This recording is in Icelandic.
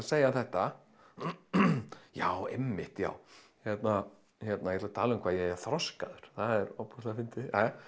segja þetta já einmitt já ég ætla að tala um hvað ég er þroskaður það er ofboðslega fyndið